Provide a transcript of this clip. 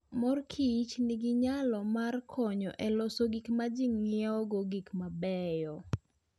Mor Kichnigi nyalo mar konyo e loso gik ma ji ng'iewogo gik mabeyo.